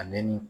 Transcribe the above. A ne ni